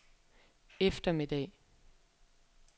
eftermiddag